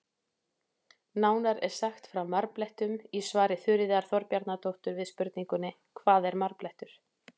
Nánar er sagt frá marblettum í svari Þuríðar Þorbjarnardóttur við spurningunni Hvað er marblettur?